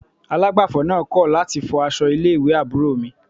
Alágbàfọ̀ náà kọ̀ láti fọ aṣọ ilé ìwé àbúrò mi